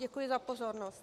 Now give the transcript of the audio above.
Děkuji za pozornost.